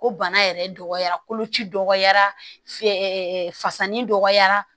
Ko bana yɛrɛ dɔgɔyara koloci dɔgɔyara fasani dɔgɔyara